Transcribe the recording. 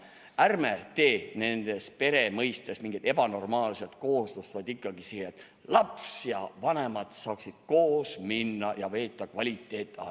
Ärme tee pere mõistest mingit ebanormaalset kooslust, vaid ikkagi nii, et laps ja vanemad saaksid koos minna ja veeta kvaliteetaega.